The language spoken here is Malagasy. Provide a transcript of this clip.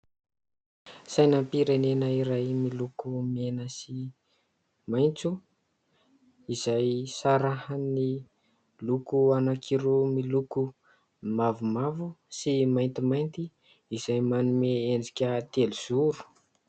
Sainam-pirenena iray miloko mena sy maitso izay sarahan'ny loko anankiroa miloko mavomavo sy maintimainty izay manome endrika telozoro.